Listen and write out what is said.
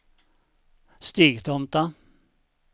Stigtomta